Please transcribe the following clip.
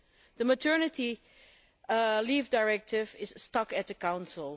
The Maternity Leave Directive is stuck with the Council.